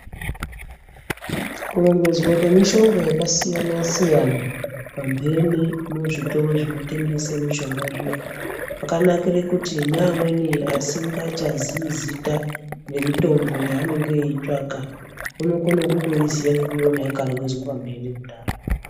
Kurongedzwa kwemishonga yakasiyana-siyana, pamphene muzvitoro zvinotengese mishonga zviya, kwakanakire kuti neamweni asingachazii zita remutombo yeanenge eitsvaka, anokone kutoziya ngekuiona yakarongedzwe pamphene kudaro.